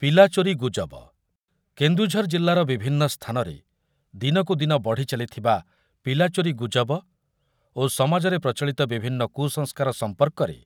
ପିଲାଚୋରୀ ଗୁଜବ, କେନ୍ଦୁଝର ଜିଲ୍ଲାର ବିଭିନ୍ନ ସ୍ଥାନରେ ଦିନକୁ ଦିନ ବଢି ଚାଲିଥିବା ପିଲା ଚୋରୀ ଗୁଜବ ଓ ସମାଜରେ ପ୍ରଚଳିତ ବିଭିନ୍ନ କୁସଂସ୍କାର ସମ୍ପର୍କରେ